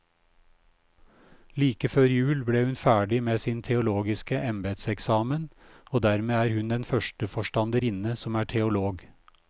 Like før jul ble hun ferdig med sin teologiske embedseksamen, og dermed er hun den første forstanderinne som er teolog.